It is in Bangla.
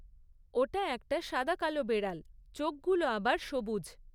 ওটা একটা সাদা কালো বেড়াল, চোখগুলো আবার সবুজ।